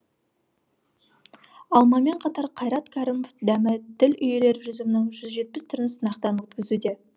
алмамен қатар қайрат кәрімов дәмі тіл үйірер жүзімнің жүз жетпіс түрін сынақтан өткізуде